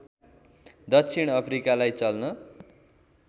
दक्षिण अफ्रिकालाई चल्न